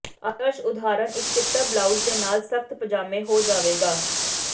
ਆਦਰਸ਼ ਉਦਾਹਰਨ ਇੱਕ ਚਿੱਟਾ ਬਲਾਊਜ਼ ਦੇ ਨਾਲ ਸਖਤ ਪਜਾਮੇ ਹੋ ਜਾਵੇਗਾ